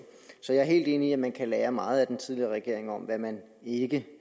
så jeg er helt enig i at man kan lære meget af den tidligere regering om hvad man ikke